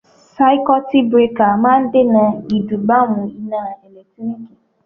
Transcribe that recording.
Sáíkútí birakà máa ń dènà ìdúgbàmù iná ẹ̀lẹ́tíríkì.